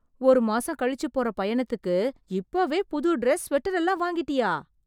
ஒரு மாசம் கழிச்சு போற பயணத்துக்கு இப்போவே புது ட்ரெஸ், ஸ்வெட்டர் எல்லாம் வாங்கிட்டியா...